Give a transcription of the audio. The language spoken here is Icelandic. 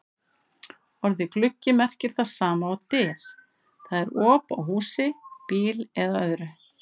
Orðið gluggi merkir það sama og dyr, það er op á húsi, bíl eða öðru.